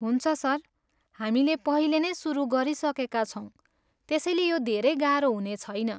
हुन्छ सर, हामीले पहिले नै सुरु गरिसकेका छौँ त्यसैले यो धेरै गाह्रो हुनेछैन।